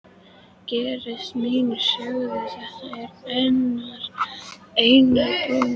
Gestir mínir sögðu: Þetta er einært blóm.